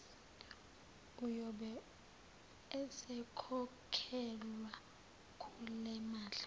uyobe esekhokhelwa kulemali